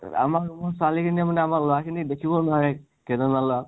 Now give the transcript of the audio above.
আমাৰ room ৰ ছোৱালী খিনিয়েও মানে আমাৰ লʼৰা খিনিক দেখিব নোৱাৰে, কেইজনমান লʼৰাক।